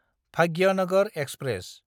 Bhagyanagar express